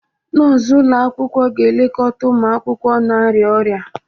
Nọọsụ ụlọ akwụkwọ ga-elekọta ụmụ akwụkwọ na-arịa ọrịa.